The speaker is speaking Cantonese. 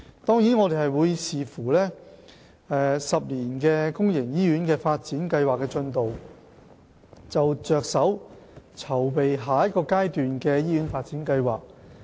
當然，我們會視乎"十年公營醫院發展計劃"的進度，才着手籌備下一個階段的醫院發展計劃。